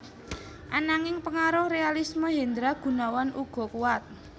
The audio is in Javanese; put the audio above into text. Ananging pengaruh realisme Hendra Gunawan uga kuwat